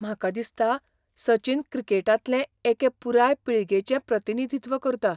म्हाका दिसता सचिन क्रिकेटांतले एके पुराय पिळगेचें प्रतिनिधित्व करता.